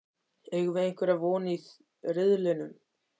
Eigum við einhverja von í riðlinum?